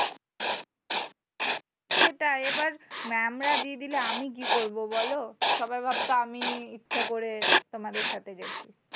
সেটাই এবার mam রা দিয়ে দিলে, আমি কি করবো বোলো? সবাই ভাবতো আমি ইচ্ছে করে তোমাদের সাথে গেছি।